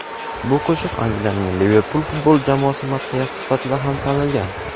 bu qo‘shiq Angliyaning "Liverpul" futbol jamoasi madhiyasi sifatida ham tanilgan.